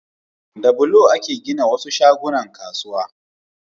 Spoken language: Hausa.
Da bulo ake gina wasu shagunnan kasuwa